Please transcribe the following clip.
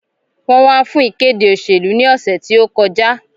Wọ́n wá fún ìkéde òṣèlú ní òsẹ̀ tí ó kọ já